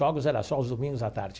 Jogos era só os domingos à tarde.